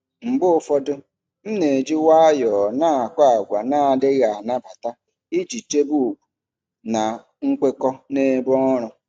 Mgbe ụfọdụ, m na-eji nwayọọ na-akọ àgwà na-adịghị anabata iji chebe ùgwù na nkwekọ n'ebe ọrụ.